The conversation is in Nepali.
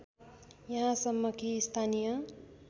यहाँसम्म कि स्थानीय